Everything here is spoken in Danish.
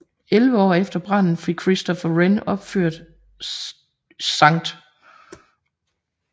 Elleve år efter branden fik Christopher Wren genopført St